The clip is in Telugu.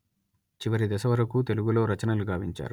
చివరి దశ వరకు తెలుగులో రచనలు గావించారు